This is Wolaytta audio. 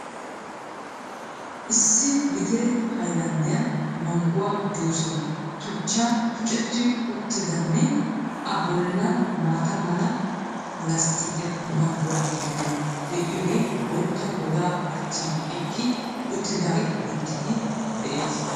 Issi letire haylanddiyan mangguwa juusee tuchchan tucetti uttidane A bollan maata mala lasttikiyan muume mangguwa meray de'iyogee bootta godaa achchan eqqi uttidaagee beettiiddi de'ee